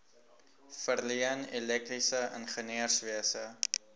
verleen elektriese ingenieurswese